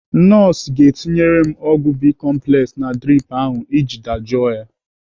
Nọọsụ ga-etinyere m ọgwụ bicomplex na drip ahụ iji dajụọ ya.